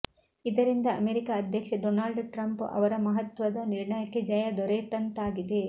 ಇದರಿಂದ ಅಮೆರಿಕ ಅಧ್ಯಕ್ಷ Donald Trump ಅವರ ಮಹತ್ವದ ನಿರ್ಣಯಕ್ಕೆ ಜಯ ದೊರೆತಂತಾಗಿದೆ